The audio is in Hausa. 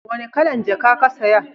wani kalan jaka ka saya?